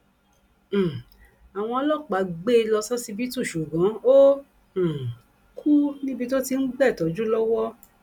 um àwọn ọlọpàá gbé e lọ ṣọsibítù ṣùgbọn ó um kù níbi tó ti ń gba ìtọjú lọwọ